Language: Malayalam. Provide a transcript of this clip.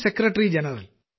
secretary general